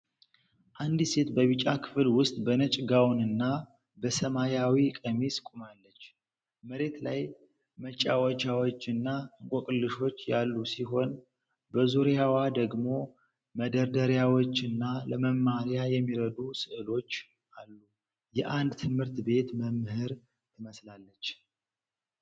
አንዲት ሴት በቢጫ ክፍል ውስጥ በነጭ ጋዋንና በሰማያዊ ቀሚስ ቆማለች። መሬት ላይ መጫወቻዎችና እንቆቅልሾች ያሉ ሲሆን፤ በዙሪያዋ ደግሞ መደርደሪያዎችና ለመማሪያ የሚረዱ ሥዕሎች አሉ። የ አንድ ትምህርት ቤት መምህር ትመስላለች ።